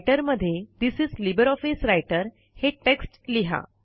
writer मध्ये this is LibreOffice Writer हे text लिहा